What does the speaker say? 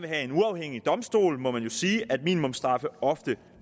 have en uafhængig domstol må man jo sige at minimumsstraffe ofte